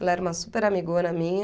Ela era uma super amigona minha.